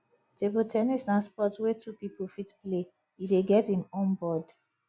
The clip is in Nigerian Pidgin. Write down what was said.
table ten nis na sport wey two pipo fit play e dey get im own board